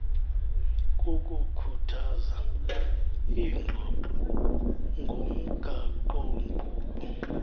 kukukhuthaza iingxoxo ngomgaqonkqubo